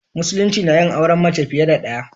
Musulunci nayin auren mace fiye da ɗaya.